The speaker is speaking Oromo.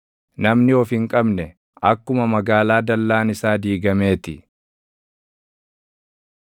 Namni of hin qabne, akkuma magaalaa dallaan isaa diigamee ti.